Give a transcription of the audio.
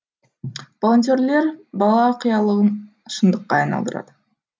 волонтерлер бала қиялын шындыққа айналдырады